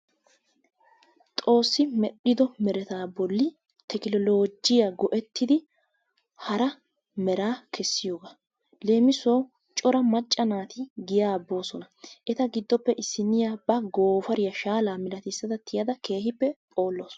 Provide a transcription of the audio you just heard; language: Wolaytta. Xoossi medhdhiddo meretaa bolli tekkinoloojjiya go"ettidi hara meraa kessiyogaa. Leemissuwawu cora macca naati giyaa boossona. Eta giddoppe issiniya ba gooppariya shaallaa malattissada tiyadda keehippe poolawusu.